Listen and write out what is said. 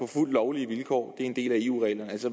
fuldt lovlige vilkår en del af eu reglerne